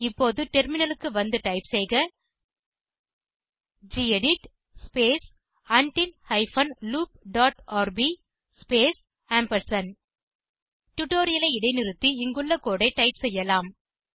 இப்போது டெர்மினலுக்கு வந்து டைப் செய்க gedit space until hyphen loop dot rb space டுடோரியலை இடைநிறுத்தி இங்குள்ள கோடு ஐ டைப் செய்யலாம்